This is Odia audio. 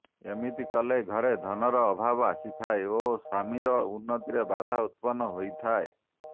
ଏମିତି କଲେ ଘରେ ଧନର ଅଭାବ ଆସିଥାଏ ଓ ସ୍ୱାମୀର ଉନ୍ନତିରେ ବାଧା ଉତ୍ପନ୍ନ ହୋଇଥାଏ